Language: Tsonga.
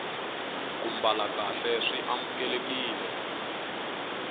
ku mbala kahle swi amukelekile